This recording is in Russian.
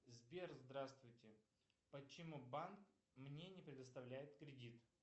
сбер здравствуйте почему банк мне не предоставляет кредит